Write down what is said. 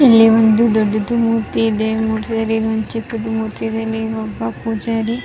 ಇಲ್ಲಿ ಒಂದು ದೊಡ್ಡದು ಮೂರ್ತಿ ಇದೆ ಮೂರ್ತಿಯಲ್ಲಿ ಒಂದು ಚಿಕ್ಕದು ಮೂರ್ತಿ ಇದೆ ಒಬ್ಬ ಪೂಜಾರಿ --